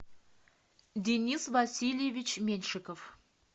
денис васильевич меньшиков